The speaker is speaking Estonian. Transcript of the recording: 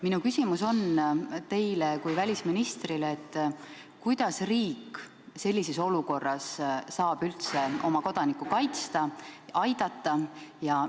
Minu küsimus teile kui välisministrile on järgmine: kuidas saab riik sellises olukorras üldse oma kodanikku kaitsta, aidata?